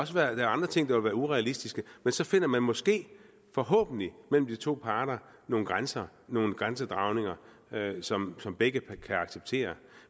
der er andre ting der vil være urealistiske men så finder man måske forhåbentlig mellem de to parter nogle grænser nogle grænsedragninger som som begge kan acceptere